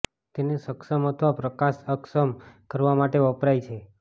તેને સક્ષમ અથવા પ્રકાશ અક્ષમ કરવા માટે વપરાય છે